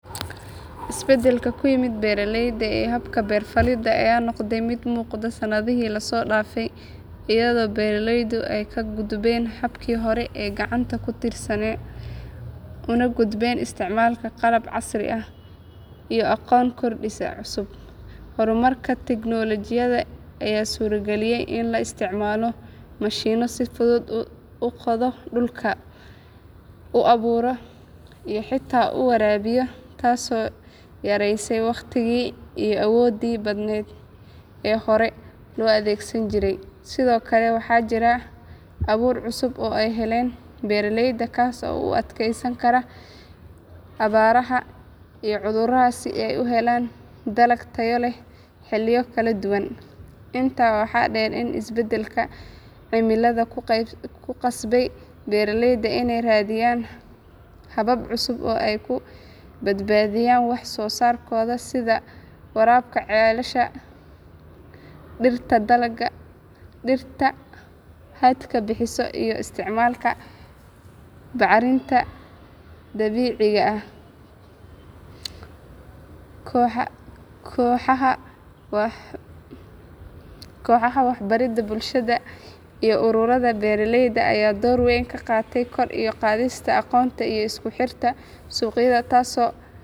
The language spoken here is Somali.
Isbeddelka ku yimid beeraleyda iyo habka beer-falidda ayaa noqday mid muuqda sannadihii la soo dhaafay iyadoo beeraleydu ay ka gudbeen habkii hore ee gacanta ku tiirsanaa una gudbeen isticmaalka qalab casri ah iyo aqoon korodhsi cusub. Horumarka tignoolajiyadda ayaa suurageliyey in la isticmaalo mashiinno si fudud u qoda dhulka, u abuura iyo xitaa u waraabiya taasoo yaraysay waqtigii iyo awooddii badan ee hore loo adeegsan jiray. Sidoo kale waxaa jira abuur cusub oo ay helaan beeraleyda kaas oo u adkaysan kara abaaraha iyo cudurrada si ay u helaan dalag tayo leh xilliyo kala duwan. Intaa waxaa dheer in isbeddelka cimiladu ku qasbay beeraleyda inay raadiyaan habab cusub oo ay ku badbaadiyaan wax-soo-saarkooda sida waraabka ceelasha, dhirta hadhka bixisa iyo isticmaalka bacrinta dabiiciga ah. Kooxaha waxbaridda bulshada iyo ururada beeraleyda ayaa door weyn ka qaatay kor u qaadista aqoonta iyo isku xirka suuqyada taasoo.